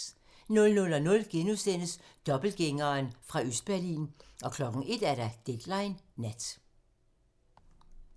00:00: Dobbeltgængeren fra Østberlin * 01:00: Deadline nat